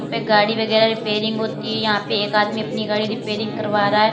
पे गाड़ी वगैरह रिपेयरिंग होती है यहां पे एक आदमी अपनी गाड़ी रिपेयरिंग करवा रहा है।